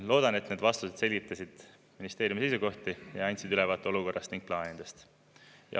Loodan, et need vastused selgitasid ministeeriumide seisukohti ja andsid ülevaate olukorrast ning plaanidest.